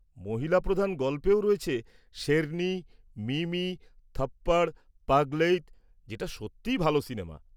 মহিলা প্রধান গল্পেও রয়েছে শেরনি, মিমি, থপ্পড়, পাগলেইত যেটা সত্যিই ভালো সিনেমা।